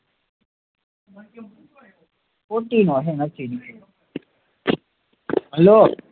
hello